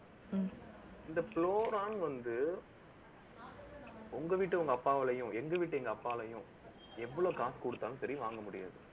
இந்த வந்து, உங்க வீட்டு உங்க அப்பாவாலயும் எங்க வீட்டு, எங்க அப்பாவாலயும் எவ்வளவு காசு குடுத்தாலும், சரி வாங்க முடியாது